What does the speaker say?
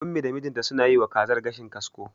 Ummi da mijinta suna yiwa kazar gashin kasko.